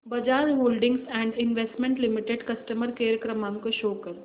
Bajaj holdings and investment limited customer care क्रमांक show कर